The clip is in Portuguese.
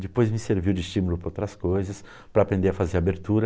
Depois me serviu de estímulo para outras coisas, para aprender a fazer abertura.